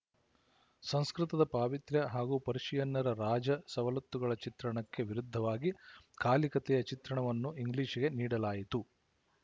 ಸಂಸ್ಕೃತದ ಪಾವಿತ್ರ್ಯ ಹಾಗೂ ಪರ್ಶಿಯನ್ನಿನ ರಾಜ ಸವಲತ್ತುಗಳ ಚಿತ್ರಣಕ್ಕೆ ವಿರುದ್ಧವಾಗಿ ಕಾಲಿಕತೆಯ ಚಿತ್ರಣವನ್ನು ಇಂಗ್ಲಿಶಿಗೆ ನೀಡಲಾಯಿತು